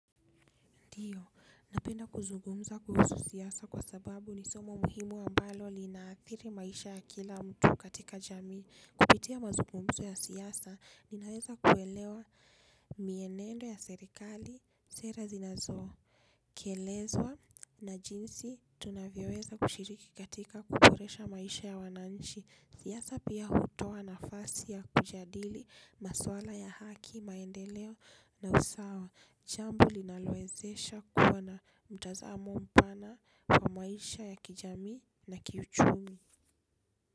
Ndio, napenda kuzungumza kuhusu siasa kwa sababu ni somo muhimu ambalo linaathiri maisha ya kila mtu katika jamii. Kupitia mazugumzo ya siasa, ninaweza kuelewa mienendo ya serikali, sera zinazoo. Kelezwa na jinsi tunavyoweza kushiriki katika kuboresha maisha ya wananchi. Siasa pia hutoa nafasi ya kujadili, maswala ya haki, maendeleo na usawa. Jambo linalowezesha kuwa na mtazamo mpana kwa maisha ya kijamii na kiuchumi.